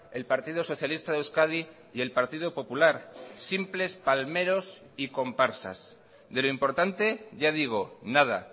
el partido socialista de euskadi y el partido popular simples palmeros y comparsas de lo importante ya digo nada